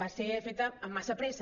va ser feta amb massa pressa